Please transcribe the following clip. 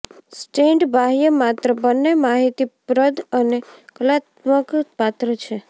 stand બાહ્ય માત્ર બંને માહિતીપ્રદ અને કલાત્મક પાત્ર છે